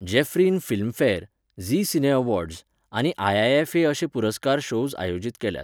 Jaffrin Filmfare, Zee cine awards, आनी IIFA अशे पुरस्कार शोव्ज आयोजीत केल्यात.